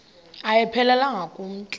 ayiphelelanga ku mntu